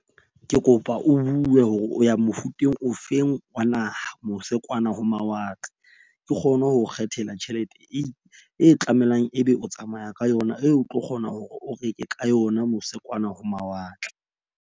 Ke kopa o bue hore o ya mofuteng ofeng wa naha mose kwana ho mawatle. Ke kgone ho kgethela tjhelete e tlamelang, ebe o tsamaya ka yona eo o tlo kgona hore o reke ka yona mose kwana ho mawatle.